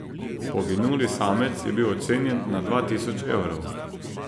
Poginuli samec je bil ocenjen na dva tisoč evrov.